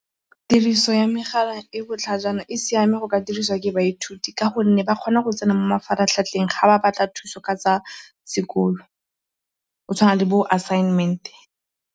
Tiriso ya megala e e botlhajana e siame go ka diriswa ke baithuti ka gonne ba kgona go tsena mo mafaratlhatlheng fa ba batla thuso ka tsa sekolo, go tshwana le bo-assignment.